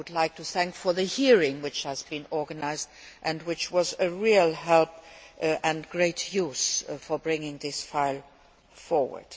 I would like to thank them for the hearing which was organised and which was of real help and great use in bringing this file forward.